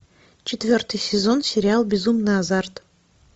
четвертый сезон сериал безумный азарт